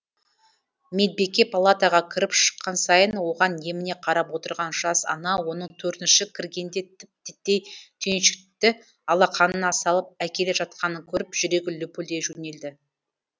медбике палатаға кіріп шыққан сайын оған еміне қарап отырған жас ана оның төртінші кіргенде тіп титтей түйіншекті алақанына салып әкеле жатқанын көріп жүрегі лүпілдей жөнелді